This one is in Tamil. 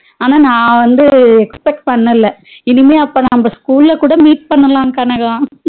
ஆனா நா வந்து expert பண்ணல இனிமே அப்ப நாம school ல கூட meet பண்ணலாம் கனகா